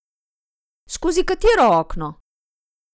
Skozi katero okno?